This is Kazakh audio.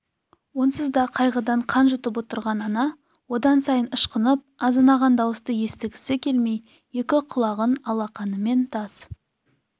онсыз да қайғыдан қан жұтып отырған ана одан сайын ышқынып азынаған дауысты естігісі келмей екі құлағын алақанымен тас